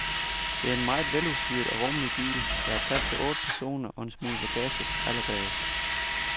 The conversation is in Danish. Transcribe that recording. Det er en meget veludstyret og rummelig bil, der har plads til otte personer og en smule bagage allerbagest.